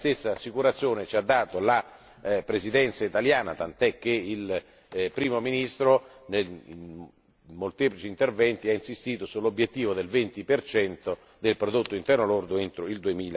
La stessa assicurazione ci è stata fornita dalla Presidenza italiana, tant'è che il Primo ministro, in molteplici interventi, ha insistito sull'obiettivo del venti percento del Prodotto interno lordo entro il